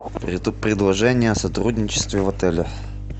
это предложение о сотрудничестве в отеле